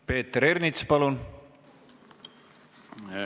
Peeter Ernits, palun!